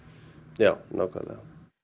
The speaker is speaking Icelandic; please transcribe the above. já nákvæmlega